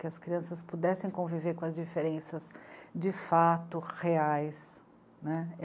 Que as crianças pudessem conviver com as diferenças de fato reais, né.